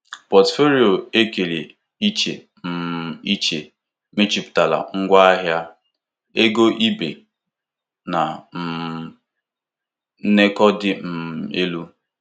Pọtụfoliyo e kere iche um iche mejuputara ngwahịa, ego ibe na um nkekọ dị um elu.